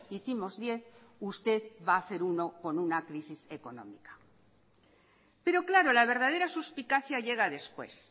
hicimos diez usted va a hacer uno con una crisis económica pero claro la verdadera suspicacia llega después